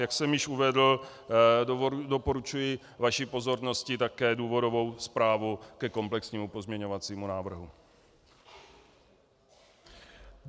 Jak jsem již uvedl, doporučuji vaší pozornosti také důvodovou zprávu ke komplexnímu pozměňovacímu návrhu.